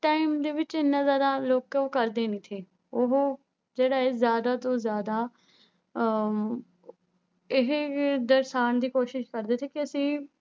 Time ਦੇ ਵਿੱਚ ਇੰਨਾ ਜ਼ਿਆਦਾ ਲੋਕ ਉਹ ਕਰਦੇ ਨੀ ਸੀ, ਉਹ ਜਿਹੜਾ ਹੈ ਜ਼ਿਆਦਾ ਤੋਂ ਜ਼ਿਆਦਾ ਅਹ ਇਹ ਦਰਸਾਉਣ ਦੀ ਕੋਸ਼ਿਸ਼ ਕਰਦੇ ਸੀ ਕਿ ਅਸੀਂ